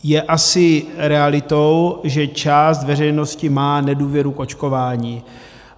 Je asi realitou, že část veřejnosti má nedůvěru k očkování.